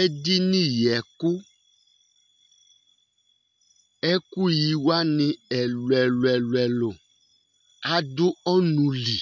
Edini yi ɛkʋ Ɛkʋ yi wani ɛlu ɛlu ɛlʋ ɛlʋ adu ɔnʋ li